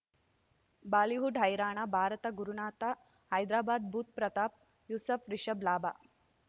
Bollywood ಹೈರಾಣ ಭಾರತ ಗುರುನಾಥ ಹೈದರಾಬಾದ್ ಬುಧ್ ಪ್ರತಾಪ್ ಯೂಸುಫ್ ರಿಷಬ್ ಲಾಭ